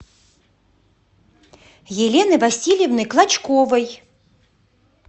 елены васильевны клочковой